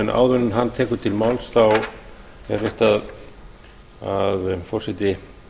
áður en hann tekur til máls er rétt að forseti